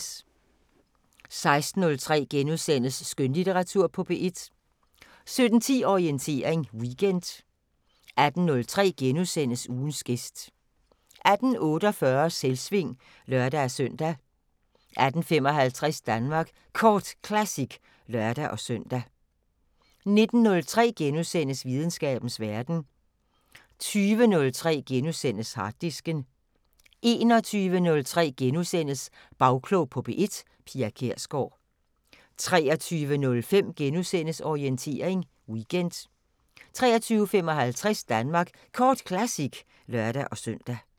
16:03: Skønlitteratur på P1 * 17:10: Orientering Weekend 18:03: Ugens gæst * 18:48: Selvsving (lør-søn) 18:55: Danmark Kort Classic (lør-søn) 19:03: Videnskabens Verden * 20:03: Harddisken * 21:03: Bagklog på P1: Pia Kjærsgaard * 23:05: Orientering Weekend * 23:55: Danmark Kort Classic (lør-søn)